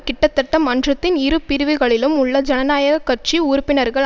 கிட்டத்தட்ட மன்றத்தின் இரு பிரிவுகளிலும் உள்ள ஜனநாயக கட்சி உறுப்பினர்கள்